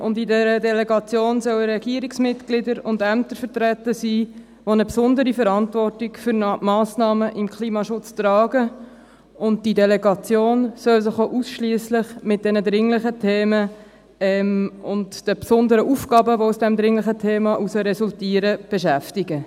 Und in dieser Delegation sollen Regierungsmitglieder und Ämter vertreten sein, die eine besondere Verantwortung für den Klimaschutz tragen, und diese Delegation soll sich auch ausschliesslich mit diesen dringlichen Themen und den besonderen Aufgaben, die aus dem dringlichen Thema heraus resultieren, beschäftigen.